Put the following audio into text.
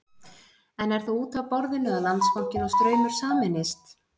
En er þá út af borðinu að Landsbankinn og Straumur sameinist?